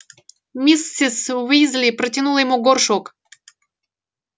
миссис уизли протянула ему горшок